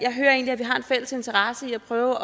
fælles interesse i at prøve